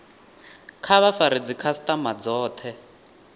kha vha fare dzikhasitama dzothe